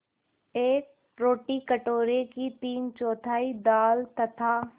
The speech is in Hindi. एक रोटी कटोरे की तीनचौथाई दाल तथा